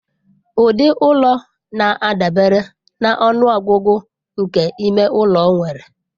Ụdị ụlọ na-adabere na ọnụ ọgụgụ nke ime ụlọ nwere.